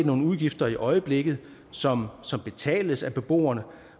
nogle udgifter i øjeblikket som som betales af beboerne